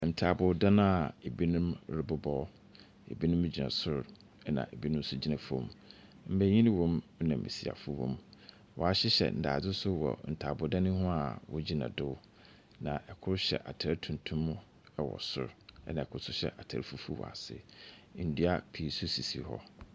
Ntaaboodan a ebinom rebobɔ. Ebinom gyina sor na ebinom gyina fam. Mbenyi wɔ mu na mbesiafo wɔ mu. Wɔahyehyɛ ndaadze nso wɔ ntaaboodan ho a wogyina do. Na kor hyɛ atar tuntum wɔ sor, na kor hyɛ atar fufuw wɔ ase. Ndua pii nso sisi hɔ.